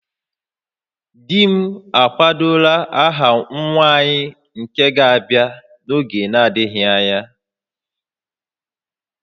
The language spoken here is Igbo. Di m akwadola aha nwa anyị nke ga-abịa n'oge na-adịghị anya